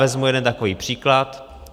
Vezmu jeden takový příklad.